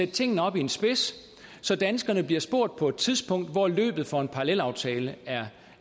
tingene op i en spids så danskerne bliver spurgt på et tidspunkt hvor løbet for en parallelaftale er